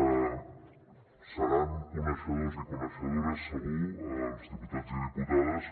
deuen ser coneixedors i coneixedores segur els diputats i diputades